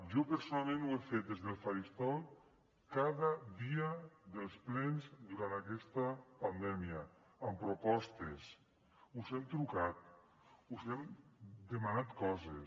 jo personalment ho he fet des del faristol cada dia dels plens durant aquesta pandèmia amb propostes us hem trucat us hem demanat coses